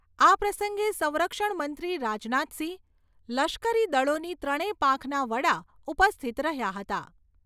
આ પ્રસંગે સંરક્ષણ મંત્રી રાજનાથસિંહ, લશ્કરી દળોની ત્રણેય પાંખના વડા ઉપસ્થિત રહ્યા હતા.